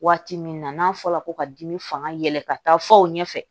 Waati min na n'a fɔra ko ka dimi fanga yɛlɛ ka taa fɔ o ɲɛfɛ